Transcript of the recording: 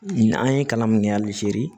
An ye kalan min kɛ hali sini